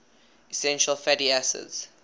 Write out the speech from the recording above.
essential fatty acids